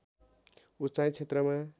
उचाइ क्षेत्रमा